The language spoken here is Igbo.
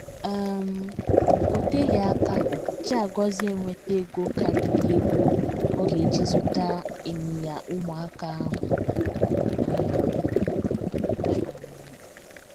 um O teghị aka Chiagozie enweta ego karịrị ego ọ ga - eji zụta ịnyịnya ụmụaka ahụ um. um